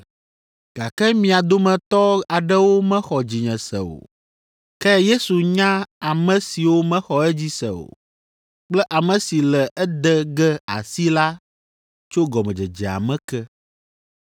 Gake mia dometɔ aɖewo mexɔ dzinye se o.” Ke Yesu nya ame siwo mexɔ edzi se o, kple ame si le ede ge asi la tso gɔmedzedzea me ke.